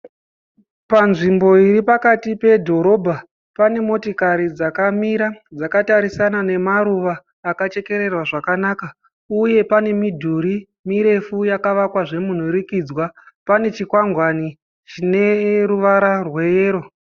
Panzvimbo iri pakati pedhorobha pane motikari dzakamira dzakatarisana nemaruva akachekererwa zvakanaka uye pane midhuri mirefu yakavakwa zvemunhurukidzwa pane chikwangwani chine ruvara rweyero.